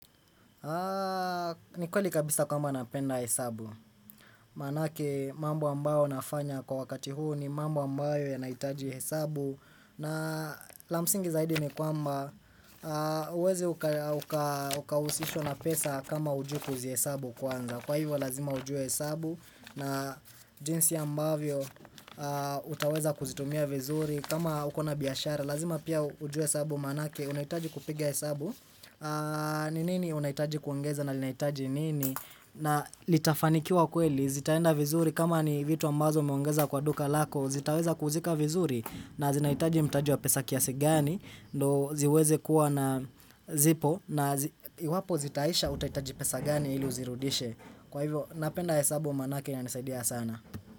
Ni kweli kabisa kwamba napenda hesabu. Manake mambo ambayo nafanya kwa wakati huu ni mambo ambayo yanahitaji hesabu na la msingi zaidi ni kwamba huwezi uka ukahusishwa na pesa kama hujui kuzihesabu kwanza. Kwa hivyo lazima ujue hesabu na jinsi ambavyo utaweza kuzitumia vizuri kama uko na biashara. Lazima pia ujue hesabu manake unahitaji kupiga hesabu. Ni nini unahitaji kuongeza na linahitaji nini? Na litafanikiwa kweli, zitaenda vizuri kama ni vitu ambazo umeongeza kwa duka lako. Zitaweza kuzika vizuri na zinahitaji mtaji wa pesa kiasi gani. Ndo ziweze kuwa na zipo na iwapo zitaisha utahitaji pesa gani ili uzirudishe. Kwa hivyo napenda hesabu manake inanisaidia sana.